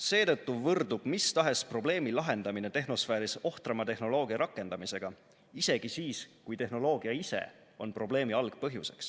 Seetõttu võrdub mistahes probleemi lahendamine tehnosfääris ohtrama tehnoloogia rakendamisega – isegi siis, kui tehnoloogia ise on probleemi algpõhjuseks.